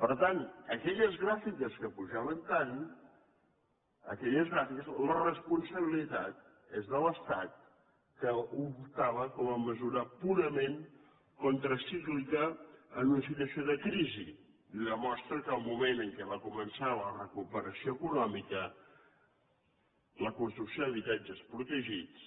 per tant d’aquelles gràfiques que pujaven tant d’aquelles gràfiques la responsabilitat és de l’estat que ho adoptava com a mesura purament contracíclica en una situació de crisi i ho demostra el fet que en el moment que va començar la recuperació econòmica la construcció d’habitatges protegits